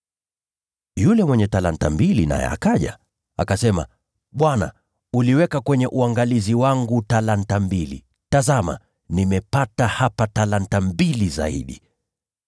“Yule mwenye talanta mbili naye akaja. Akasema, ‘Bwana, uliweka kwenye uangalizi wangu talanta mbili. Tazama nimepata hapa talanta mbili zaidi.’